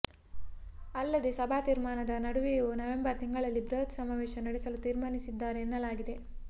ಅಲ್ಲದೇ ಸಭಾ ತೀರ್ಮಾನದ ನಡುವೆಯೂ ನವೆಂಬರ್ ತಿಂಗಳಲ್ಲಿ ಬೃಹತ್ ಸಮಾವೇಶ ನಡೆಸಲು ತೀರ್ಮಾನಿಸಿದ್ದಾರೆ ಎನ್ನಲಾಗಿದೆ